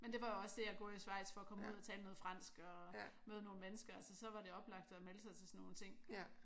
Men det var også det jeg gjorde i Schweiz for at komme ud at tale noget fransk og møde nogle mennesker altså så var det oplagt at melde sig til sådan nogle ting